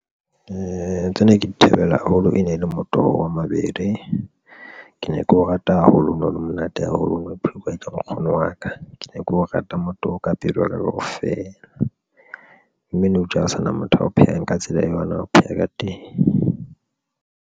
Tsena ke di thabela haholo e ne e le motoho wa mabele, ke ne keo rata haholo, o no le monate haholo o no ho pheuwa ke nkgono wa ka ke ne keo rata motoho ka pelo ya ka kaofela mme nou tje ha o sana motho a o phehang ka tsela e yona, o pheha ka teng.